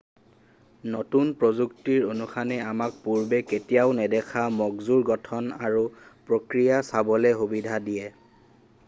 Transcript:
নতুন প্ৰযুক্তিৰ উত্থানে আমাক পূৰ্বে কেতিয়াও নেদেখা মগজুৰ গঠন আৰু প্ৰক্ৰিয়া চাবলৈ সুবিধা দিয়ে